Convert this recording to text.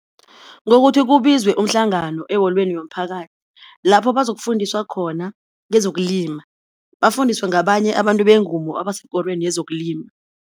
Ngokuthi kubizwe umhlangano eholweni yomphakathi lapho bazokufundiswa khona ngezokulima, bafundiswe ngabanye abantu bengumo abasekorweni yezokulima.